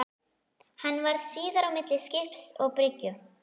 Hann varð síðar á milli skips og bryggju.